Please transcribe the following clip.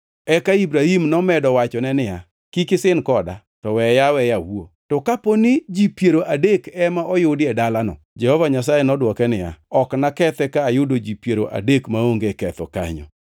Eka Ibrahim nomedo wachone niya, “Kik isin koda, to weya aweya awuo. To ka dipo ni ji piero adek ema oyudi e dalano?” Jehova Nyasaye nodwoke niya, “Ok nakethi ka ayudo ji piero adek maonge ketho kanyo.”